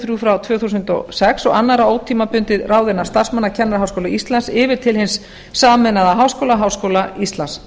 og þrjú tvö þúsund og sex og annarra ótímabundinna ráðinna starfsmanna kennaraháskóla íslands yfir til hins sameinaða háskóla háskóla íslands